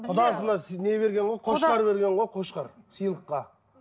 құдасына не берген ғой қошқар берген ғой қошқар сыйлыққа